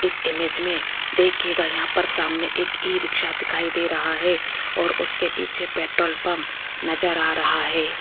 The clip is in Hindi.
इस इमेज मे देखियेगा यहां पर सामने एक ई रिक्शा दिखाई दे रहा है और उसके पीछे पेट्रोल पंप नज़र आ रहा है।